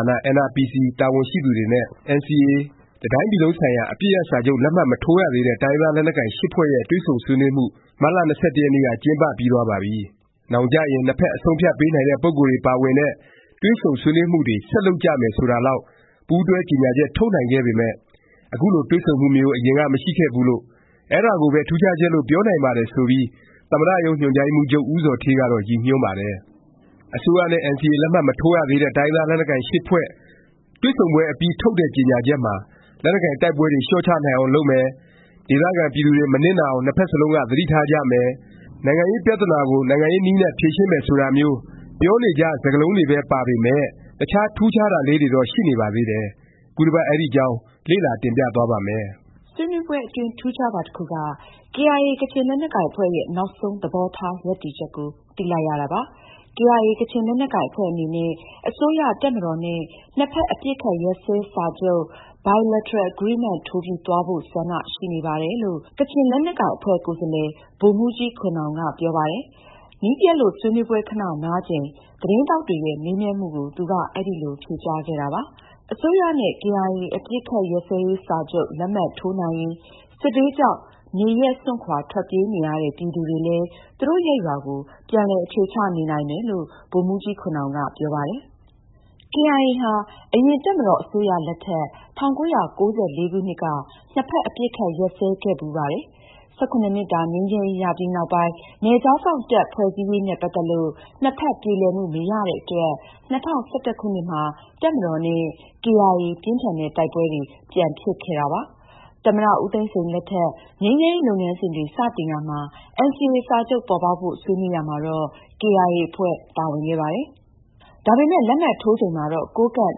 ာန NRPC တာဝန်ရှိသူတွေနဲ့ NCA တစ်တိုင်းပြည်လုံးဆိုင်ရာ အပစ်ရပ် စာချုပ် လက်မှတ် မထိုးရသေးတဲ့ တိုင်းရင်းသား လက်နက်ကိုင် ၈ ဖွဲ့ရဲ့ တွေ့ဆုံဆွေးနွေးမှု မတ်လ ၂၁ ရက်နေ့က ကျင်းပပြီးသွားပါပြီ။ နောင်ကျရင် နှစ်ဖက် အဆုံးအဖြတ်ပေးနိုင်တဲ့ ပုဂ္ဂိုလ်တွေ ပါဝင်တဲ့ တွေ့ဆုံဆွေးနွေးမှုတွေ ဆက်လုပ်ကြမယ် ဆိုတာလောက် ပူးတွဲကြေငြာချက် ထုတ်နိုင်ပေမယ့် အခုလို တွေ့ဆုံမှုမျိုး အရင်က မရှိခဲ့ဖူးလို့၊ အဲဒါကိုပဲ ထူးခြားချက်လို့ ပြောနိုင်ပါတယ် ဆိုပြီး သမ္မတရုံးညွှန်ကြားရေးမှူးချုပ် ဦးဇော်ဌေး ကတော့ ရည်ညွှန်းပါတယ်။ အစိုးရနဲ့ NCA လက်မှတ်မထိုးရသေးတဲ့ တိုင်းရင်းသား လက်နက်ကိုင် ၈ ဖွဲ့တွေ့ဆုံပွဲ အပြီး ထုတ်တဲ့ ကြေငြာချက်မှာ လက်နက်ကိုင် တိုက်ပွဲတွေ လျော့ချနိုင်အောင် လုပ်မယ်၊ ဒေသခံ ပြည်သူတွေ မနစ်နာအောင် နှစ်ဖက်စလုံးက သတိထားကြမယ်၊ နိုင်ငံရေးပြသနာကို နိုင်ငံရေး နည်းနဲ့ ဖြေရှင်းမယ် ဆိုတာမျိုး ပြောနေကြ စကားလုံးတွေပဲ ပါပေမယ့် တခြား ထူးခြားတာလေးတွေတော့ ရှိနေပါသေးတယ်။ ခုတစ်ပတ် အဲဒီအကြောင်း လေ့လာ တင်ပြသွားပါ့မယ်။ ဆွေးနွေးပွဲအတွင်း ထူးခြားတာ တစ်ခုက KIA ကချင်လက်နက်ကိုင် အဖွဲ့ရဲ့ နောက်ဆုံး သဘောထား ရပ်တည်ချက်ကို သိလိုက်ရတာပါ။ KIA ကချင်လက်နက်ကိုင် အဖွဲ့အနေနဲ့ အစိုးရ၊တပ်မတော်နဲ့ နှစ်ဖက် အပစ်အခတ် ရပ်စဲစာချုပ် Bi lateral Agreement ထိုးပြီး သွားဖို့ ဆန္ဒရှိနေပါတယ် လို့ ကချင်လက်နက်ကိုင်အဖွဲ့ ကိုယ်စားလှယ် ဗိုလ်မှူးကြီးခွန်နောင်က ပြောပါတယ်။ မီးပျက်လို့ ဆွေးနွေးပွဲ ခဏ နားချိန် သတင်းထောက်တွေရဲ့ မေးမြန်းမှုကို သူက အဲလို ဖြေကြားခဲ့တာပါ။ အစိုးရနဲ့ KIA အပစ်အခတ် ရပ် စာချုပ် လက်မှတ်ထိုးနိုင်ရင် စစ်ဘေးကြောင့် နေရပ်စွန့်ခွာ ထွက်ပြေးနေရတဲ့ ပြည်သူတွေလည်း သူတို့ရပ်ရွာကို ပြန်လည် အခြေချ နေနိုင်မယ်လို့ ဗိုလ်မှူးကြီးခွန်နောင်က ပြောပါတယ်။ ကေအိုင်အေ ဟာ အရင် တပ်မတော်အစိုးရလက်ထက် ၁၉၉၄ ခုနှစ်က နှစ်ဖက် အပစ်အခတ် ရပ်စဲခဲ့ဖူးပါတယ်။ ၁၇ နှစ်တာ ငြိမ်းချမ်းရေး ရပြီး နောက်ပိုင်း နယ်ခြားစောင့် တပ် ဖွဲ့စည်းရေးနဲ့ ပတ်သက်လို့ နှစ်ဖက် ပြေလည်မှု မရတဲ့အတွက် ၂၀၁၁ ခုနှစ်မှာ တပ်မတော်နဲ့ ကေအိုင်အေ ပြင်းထန်တဲ့ တိုက်ပွဲတွေ ပြန်ဖြစ်ခဲ့ပါတယ်။ သမ္မတ ဦးသိန်းစိန် လက်ထက် ငြိမ်းချမ်းရေး လုပ်ငန်းစဉ်တွေ စတင်ရာမှာ NCA စာချုပ်ပေါ်ပေါက်ဖို့ ဆွေးနွေးရာမှာတော့ ကေအိုင်အေ အဖွဲ့ ပါဝင်ခဲ့ပါတယ်။ ဒါပေမယ့် လက်မှတ်ထိုးချိန်မှာတော့ ကိုးကန့်၊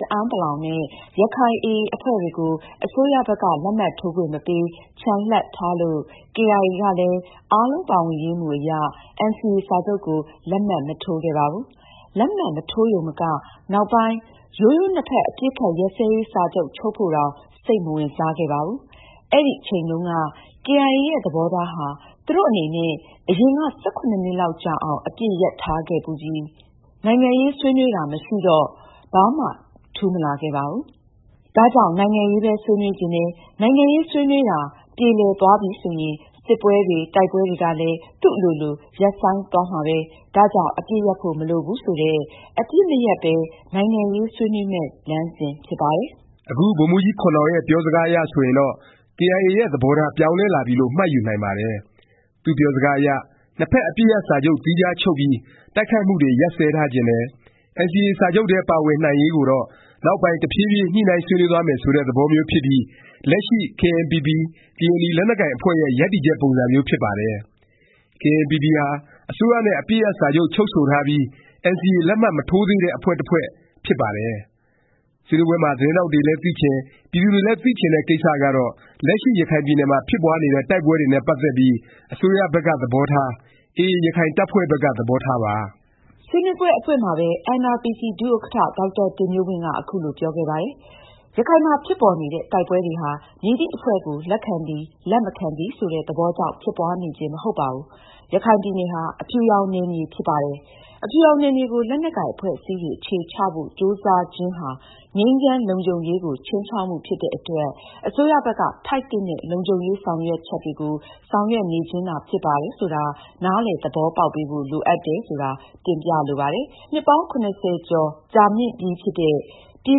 တအဲန်းပလောင် နဲ့ ရခိုင် AA အဖွဲ့တွေကို အစိုးရဘက်က လက်မှတ်ထိုးခွင့် မပေး၊ ချန်လှပ်ထားလို့ ကေအိုင်အေ ကလည်း အားလုံးပါဝင်ရေး မူအရ NCA စာချုပ်ကို လက်မှတ် မထိုးခဲ့ပါဘူး။ လက်မှတ် မထိုးရုံမက နောက်ပိုင်း၊ ရိုးရိုး နှစ်ဖက် အပစ်အခတ်ရပ်စဲရေး စာချုပ် ချုပ်ဖို့တောင် စိတ်မဝင်စားခဲ့ပါဘူး။ အဲဒီအချိန်တုန်းက ကေအိုင်အေ ရဲ့ သဘောထားဟာ သူတို့ အနေနဲ့ အရင်က ၁၇ နှစ်လောက်ကြာအောင် အပစ်ရပ်ထားခဲ့ဖူးပြီ။ နိုင်ငံရေးဆွေးနွေးတာ မရှိတော့ ဘာမှ ထူးမလာခဲ့ဘူး။ ဒါကြောင့် နိုင်ငံရေးပဲ ဆွေးနွေးချင်တယ်။ နိုင်ငံရေး ဆွေးနွေးတာ ပြေလည်သွားပြီဆိုရင် စစ်ပွဲတွေ၊ တိုက်ပွဲတွေကလည်း သူ့အလိုလို ရပ်ဆိုင်းသွားမှာပဲ၊ ဒါကြောင့် အပစ်ရပ်ဖို့ မလိုဘူး ဆိုတဲ့၊ အပစ်မရပ်ပဲ နိုင်ငံရေး ဆွေးနွေးမယ့် လမ်းစဉ် ဖြစ်ပါတယ်။ အခု ဗိုလ်မှူးကြီးခွန်နောင် ရဲ့ ပြောစကားအရ ဆိုရင်တော့ ကေအိုင်အေရဲ့ သဘောထား ပြောင်းလဲလာပြီလို့ မှတ်ယူနိုင်ပါတယ်။ သူ့ပြောစကားအရ နှစ်ဖက် အပစ်ရပ် စာချုပ် သီးခြားချုပ်ပြီး တိုက်ခိုက်မှုတွေကို ရပ်စဲထားချင်တယ်၊ NCA စာချုပ်ထဲ ပါဝင်နိုင်ရေးကိုတော့ နောက်ပိုင်း တဖြေးဖြေး ညှိနှိုင်းဆွေးနွေးသွားမယ် ဆိုတဲ့ သဘောမျိုး ဖြစ်ပြီး လက်ရှိ KNPP ကရင်နီ လက်နက်ကိုင် အဖွဲ့ရဲ့ ရပ်တည်ချက် ပုံစံမျိုးဖြစ်ပါတယ်။ KNPP ဟာ အစိုးရနဲ့ အပစ်ရပ်စာချုပ် ချုပ်ဆိုထားပြီး NCA လက်မှတ်မထိုးသေးတဲ့ အဖွဲ့ တစ်ဖွဲ့ ဖြစ်ပါတယ်။ ဆွေးနွေးပွဲမှာ သတင်းထောက်တွေလည်း သိချင်၊ ပြည်သူတွေလည်း သိချင်တဲ့ ကိစ္စကတော့ လက်ရှိ ရခိုင်ပြည်နယ်မှာ ဖြစ်ပွားနေတဲ့ တိုက်ပွဲတွေနဲ့ ပတ်သက်ပြီး အစိုးရဘက်က သဘောထား၊ AA ရခိုင်တပ်ဖွဲ့ဘက်က သဘောထားပါ။ ဆွေးနွေးပွဲ အဖွင့်မှာပဲ NRPC ဒုဥက္ကဌ ဒေါက်တာတင်မျိုးဝင်းက အခုလို ပြောခဲ့ပါတယ်။ “ရခိုင်မှာ ဖြစ်ပေါ်နေတဲ့ တိုက်ပွဲတွေဟာ မည်သည့်အဖွဲ့ကို လက်ခံသည် လက်မခံသည် ဆိုတဲ့ သဘောကြောင့် ဖြစ်ပွားနေခြင်း မဟုတ်ပါဘူး။ ရခိုင်ပြည်နယ်ဟာ အဖြူရောင် နယ်မြေ ဖြစ်ပါတယ်။ အဖြူရောင်နယ်မြေကို လက်နက်ကိုင် အဖွဲ့အစည်းတွေ အခြေချဖို့ ကြိုးစားခြင်းဟာ ငြိမ်းချမ်း၊ လုံခြုံရေးကို ခြိမ်းခြောက်မှု ဖြစ်တဲ့အတွက် အစိုးရဘက်က ထိုက်သင့်တဲ့ လုံခြုံရေး ဆောင်ရွက်ချက်တွေကို ဆောင်ရွက်နေခြင်းသာ ဖြစ်ပါတယ် ဆိုတာ နားလည်သဘောပေါက်ပေးဖို့ လိုအပ်တယ် ဆိုတာ တင်ပြလိုပါတယ်။ နှစ်ပေါင်း ၇၀ ကျော်ကြာမြင့်ပြီဖြစ်တဲ့ ပြည်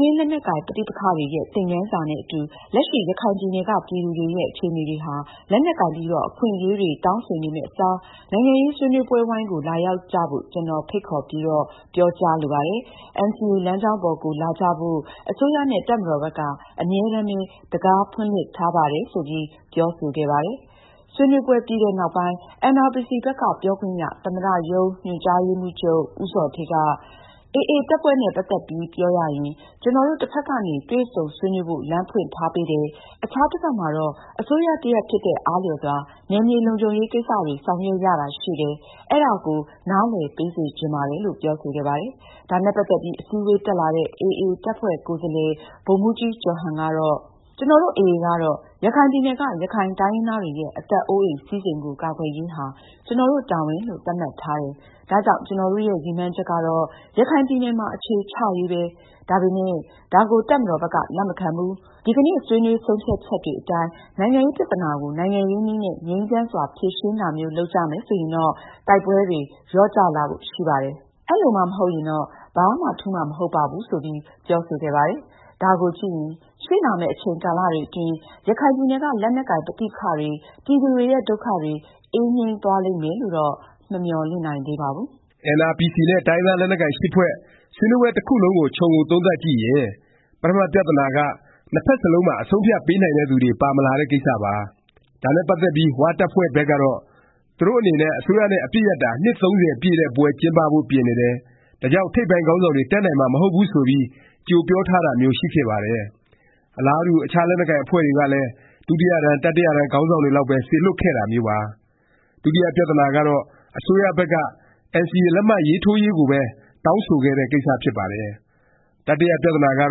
တွင်း လက်နက်ကိုင် ပဋိပက္ခတွေရဲ့ သင်ခန်းစာနဲ့ အခု လက်ရှိ ရခိုင်ပြည်နယ်က ပြည်သူတွေရဲ့ အခြေအနေတွေဟာ လက်နက်ကိုင်ပြီးတော့ အခွင့်အရေးတွေ တောင်းဆိုနေမယ့်အစား နိုင်ငံရေး စားပွဲဝိုင်းကို လာရောက်ကြဖို့ ကျနော် ဖိတ်ခေါ်ပြီးတော့ ပြောကြားလိုပါတယ်။ NCA လမ်းကြောင်းပေါ်ကို လာကြဖို့ အစိုးရနဲ့ တပ်မတော်ဘက်က အမြဲတမ်းပဲ တံခါး ဖွင့်လှစ်ထားပါတယ်။” ဆိုပြီး ပြောဆိုခဲ့ပါတယ်။ ဆွေးနွေးပွဲ ပြီးတဲ့နောက်ပိုင်း NRPC ဘက်က ပြောခွင့်ရ သမ္မတရုံးညွှန်ကြားရေးမှူးချုပ် ဦးဇော်ဌေးက “ AA တပ်ဖွဲ့နဲ့ ပတ်သက်ပြီး ပြောရရင် ကျနော်တို့ တစ်ဖက်ကနေ တွေ့ဆုံဆွေးနွေးဖို့ လမ်းဖွင့်ထားပေးတယ်၊ အခြားတစ်ဖက်မှာတော့ အစိုးရ တစ်ရပ် ဖြစ်တဲ့အားလျော်စွာ နယ်မြေ လုံခြုံရေး ကိစ္စတွေ ဆောင်ရွက်ရတာ ရှိတယ်။ အဲဒါကို နားလည်ပေးစေချင်ပါတယ်။” လို့ ပြောဆိုခဲ့ပါတယ်။ ဒါနဲ့ ပတ်သက်ပြီး အစည်းအဝေး တက်လာတဲ့ AA တပ်ဖွဲ့ ကိုယ်စားလှယ် ဗိုလ်မှူးကြီးကျော်ဟန် ကတော့ “ကျနော်တို့ AA ကတော့ ရခိုင်ပြည်နယ်က ရခိုင်တိုင်းရင်းသားတွေရဲ့ အသက်အိုးအိမ် စည်းစိမ်ကို ကာကွယ်ရေးဟာ ကျနော်တို့ တာဝန်လို့ သတ်မှတ်ထားတယ်၊ ဒါကြောင့် ကျနော်တို့ရဲ့ ရည်မှန်းချက်ကတော့ ရခိုင်ပြည်နယ်မှာ အခြေချရေးပဲ၊ ဒါပေမယ့် ဒါကို တပ်မတော်ဘက်က လက်မခံဘူး။ ဒီကနေ့ ဆွေးနွေး ဆုံးဖြတ်ချက်တွေအတိုင်း နိုင်ငံရေး ပြသနာကို နိုင်ငံရေးနည်းနဲ့ ငြိမ်းချမ်းစွာ ဖြေရှင်းတာမျိုး လုပ်ကြမယ် ဆိုရင်တော့ တိုက်ပွဲတွေ လျော့ကျလာဖို့ ရှိပါတယ်။ အဲလိုမှ မဟုတ်ရင်တော့ ဘာမှ ထူးမှာ မဟုတ်ပါဘူး။” ဆိုပြီး ပြောဆိုခဲ့ပါတယ်။ ဒါကို ကြည့်ရင် ရှေ့လာမယ့် အချိန်ကာလတွေအတွင်း ရခိုင်ပြည်နယ်က လက်နက်ကိုင် ပဋိပက္ခတွေ၊ ပြည်သူတွေရဲ့ ဒုက္ခတွေ အေးငြိမ်းသွားလိမ့်မယ်လို့တော့ မမျှော်လင့်နိုင်သေးပါဘူး။ NRPC နဲ့ တိုင်းရင်းသား လက်နက်ကိုင် ၈ ဖွဲ့ ဆွေးနွေးပွဲ တစ်ခုလုံးကို ခြုံငုံသုံးသပ်ကြည့်ရင် ပထမ ပြသနာက နှစ်ဖက်စလုံးမှာ အဆုံးအဖြတ် ပေးနိုင်တဲ့သူတွေ ပါမလာတဲ့ ကိစ္စပါ။ ဒါနဲ့ ပတ်သက်ပြီး ၀ တပ်ဖွဲ့ဘက်ကတော့ သူတို့အနေနဲ့ အစိုးရနဲ့ အပစ်ရပ်တာ နှစ် ၃၀ ပြည့်တဲ့ပွဲ ကျင်းပဖို့ ပြင်နေတယ်၊ ဒါကြောင့် ထိပ်ပိုင်းခေါင်းဆောင်တွေ တက်နိုင်မှာ မဟုတ်ဘူး ဆိုပြီး ကြိုပြောထားတာမျိုး ရှိခဲ့ပါတယ်။ အလားတူ အခြားလက်နက်ကိုင် အဖွဲ့တွေကလည်း ဒုတိယတန်း၊ တတိယတန်း ခေါင်းဆောင်တွေလောက်ပဲ စေလွှတ်ခဲ့တာမျိုးပါ။ ဒုတိယ ပြသနာကတော့ အစိုးရဘက်က NCA လက်မှတ်ထိုးရေးကိုပဲ တောင်းဆိုခဲ့တဲ့ ကိစ္စ ဖြစ်ပါတယ်။ တတိယ ပြသနာက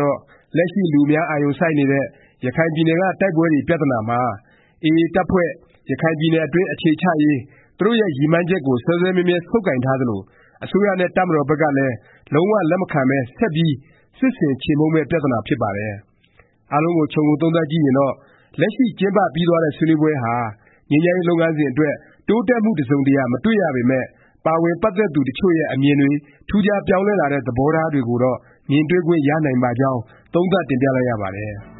တော့ လက်ရှိ လူအများ အာရုံစိုက်နေတဲ့ ရခိုင်ပြည်နယ်က တိုက်ပွဲတွေ ပြသနာမှာ AA တပ်ဖွဲ့ ရခိုင်ပြည်နယ်အတွင်း အခြေချရေး သူတို့ရဲ့ ရည်မှန်းချက်ကို စွဲစွဲမြဲမြဲ ဆုပ်ကိုင်ထားသလို၊ အစိုးရနဲ့ တပ်မတော်ဘက်ကလည်း လုံး၀ လက်မခံပဲ ဆက်ပြီး စစ်ဆင် ခြေမှုန်းမယ့် ပြသနာ ဖြစ်ပါတယ်။ အားလုံးကို ခြုံငုံ သုံးသပ်ကြည့်ရင်တော့ လက်ရှိ ကျင်းပပြီးသွားတဲ့ ဆွေးနွေးပွဲဟာ ငြိမ်းချမ်းရေး လုပ်ငန်းစဉ်အတွက် တိုးတက်မှု တစ်စုံတစ်ရာ မတွေ့ရပေမယ့် ပါဝင် ပတ်သက်သူတစ်ချို့ရဲ့ အမြင်တွေ၊ ထူးခြားပြောင်းလဲလာတဲ့ သဘောထား တွေကိုတော့ မြင်တွေ့ခွင့် ရနိုင်ပါကြောင်း သုံးသပ်တင်ပြလိုက်ရပါတယ်။